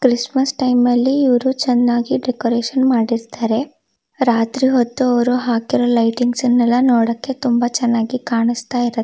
Christmas time ಅಲ್ಲಿ ಇವ್ರು ಚನ್ನಾಗಿ ಡೆಕೋರೇಷನ್ ಮಾಡಿರತ್ತರೆ ರಾತ್ರಿ ಹೊತ್ತು ಅವ್ರು ಹಾಕಿರೋ ಲೈಟಿಂಗ್ಸ್ ನೆಲ್ಲಾ ನೋಡೋಕೆ ತುಂಬಾ ಚನ್ನಾಗಿ ಕಾಣಸ್ತಾ ಇರು--